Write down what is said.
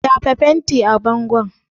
Shafa fenti a bangon!